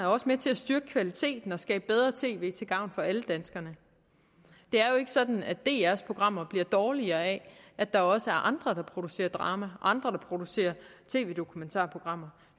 også med til at styrke kvaliteten og skabe bedre tv til gavn for alle danskerne det er jo ikke sådan at drs programmer bliver dårligere af at der også er andre der producerer drama og andre der producerer tv dokumentarprogrammer